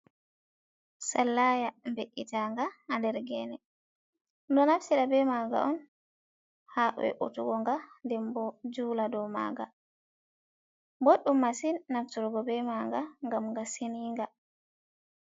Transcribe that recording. Sallaya mbe’’itanga ha der gene do naftida be maga on ha ve utuggo nga denbo jula dow manga. Boddum masin nafturgo be manga ngam ga seninga.